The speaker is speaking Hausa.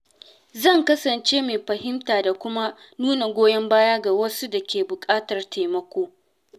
Zan kasance mai fahimta da kuma nuna goyon baya ga wasu da ke buƙatar taimako.